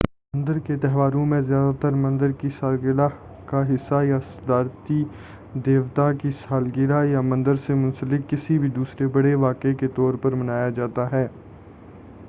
مندر کے تہواروں میں سے زیادہ تر مندر کی سالگرہ کا حصہ یا صدارتی دیوتا کی سالگرہ یا مندر سے منسلک کسی بھی دوسرے بڑے واقعے کے طور پر منایا جاتا ہے